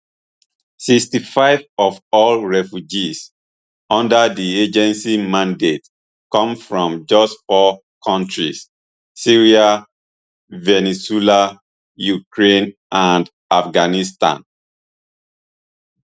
sixty-five of all refugees under di agency mandate come from just four kontris syria venezuela ukraine and afghanistan